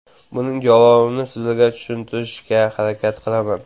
Buning javobini sizlarga tushuntirishga harakat qilaman.